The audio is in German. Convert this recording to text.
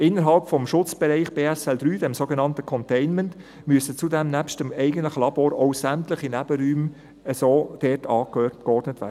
Innerhalb des Schutzbereichs BSL 3, dem sogenannten Containment, müssen zudem nebst den eigentlichen Labors auch sämtliche Nebenräume so angeordnet werden.